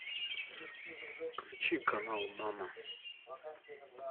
включи канал мама